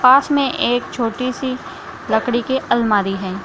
पास में एक छोटी सी लकड़ी की अलमारी है।